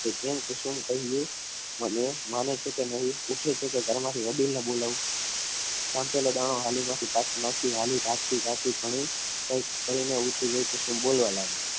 કેમ કુસુમ મને માને છે કે નહીં ઊઠે છે કે નહીં ઊઠે છે કે ઘરમાંથી વડીલને બોલાવું વાટકી માંથી દાણા પાછો નાખી પણ રાખતી કુસુમ બોલવા લાગી